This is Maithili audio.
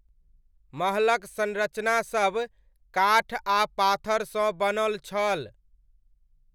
महलक संरचनासभ काठ आ पाथरसँ बनल छल।